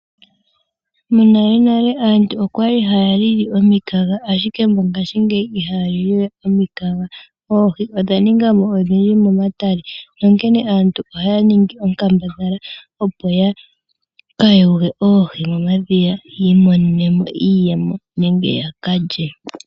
Monalenale aantu okwali haya lili omikaga , ashike mongashingeyi ihaya liliwe omikaga . Oohi odha ninga mo odhindji momatale , onkene aantu oya ningi onkambadhala opo ya yuule oohi momadhiya, yiimonenemo iiyemo nenge yakalye.